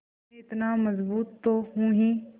मैं इतना मज़बूत तो हूँ ही